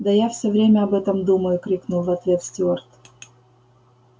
да я все время об этом думаю крикнул в ответ стюарт